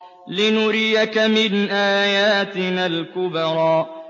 لِنُرِيَكَ مِنْ آيَاتِنَا الْكُبْرَى